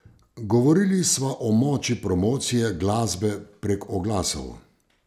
Govorili sva o moči promocije glasbe prek oglasov.